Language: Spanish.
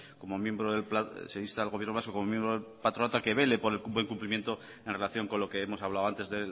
se insta al gobierno vasco como miembro del patronato a que vele por el buen cumplimiento en relación con lo que hemos hablado antes